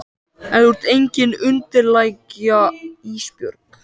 En þú ert engin undirlægja Ísbjörg.